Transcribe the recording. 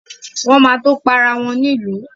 Wọ́n ma tó ma para wọn nílùú